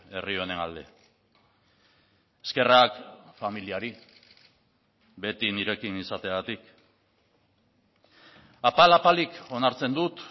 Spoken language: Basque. herri honen alde eskerrak familiari beti nirekin izateagatik apal apalik onartzen dut